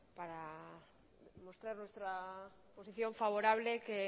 para mostrar nuestra posición favorable que